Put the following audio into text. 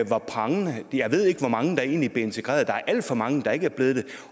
var prangende jeg ved ikke hvor mange der egentlig blev integreret der er alt for mange der ikke er blevet